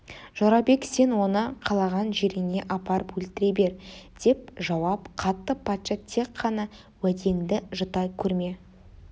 жорабек сен оны қалаған жеріңе апарып өлтіре бер деп жауап қатты патша тек қана уәдеңді жұта көрме